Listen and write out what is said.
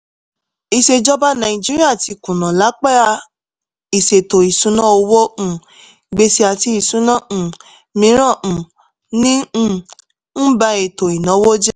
ìṣèjọba naìjíríà ti kùnà lápa ìṣètò ìṣúná owó um gbèsè àti ìṣúná um mìíràn um ń um ń ba ètò ìnáwó jẹ́.